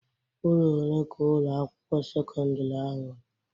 Ụlọ one ka Ụlọ akwụkwọ sekọndrị ahụ nwere?